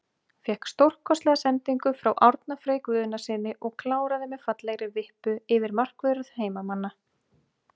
Fékk stórkostlega sendingu frá Árna Frey Guðnasyni og kláraði með fallegri vippu yfir markvörð heimamanna.